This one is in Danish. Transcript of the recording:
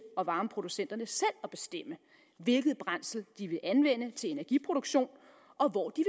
og varmeproducenterne selv at bestemme hvilken brændsel de vil anvende til energiproduktion og hvor de